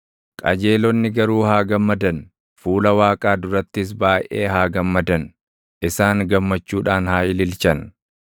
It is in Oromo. Qajeelonni garuu haa gammadan; fuula Waaqaa durattis baayʼee haa gammadan; isaan gammachuudhaan haa ililchan.